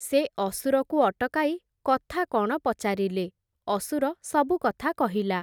ସେ ଅସୁରକୁ ଅଟକାଇ କଥା କ’ଣ ପଚାରିଲେ, ଅସୁର ସବୁ କଥା କହିଲା ।